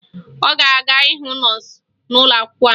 Ọ ga-aga hụ nọọsụ ụlọakwụkwọ anyị